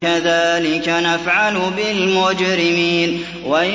كَذَٰلِكَ نَفْعَلُ بِالْمُجْرِمِينَ